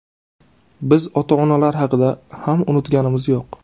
Biz ota-onalar haqida ham unutganimiz yo‘q.